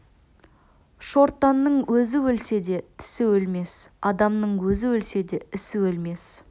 шортанның өзі өлсе де тісі өлмес адамның өзі өлсе де ісі өлмес